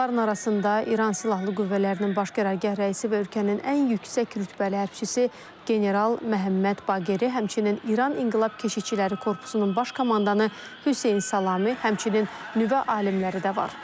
Onların arasında İran Silahlı Qüvvələrinin Baş Qərargah rəisi və ölkənin ən yüksək rütbəli hərbiçisi general Məhəmməd Baqeri, həmçinin İran İnqilab Keşikçiləri Korpusunun baş komandanı Hüseyn Salami, həmçinin nüvə alimləri də var.